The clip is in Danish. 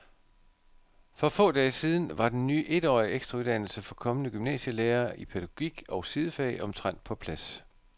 For få dage siden var den ny etårige ekstrauddannelse for kommende gymnasielærere i pædagogik og sidefag omtrent på plads.